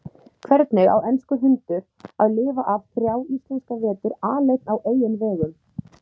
Hvernig á enskur hundur að lifa af þrjá íslenska vetur aleinn á eigin vegum?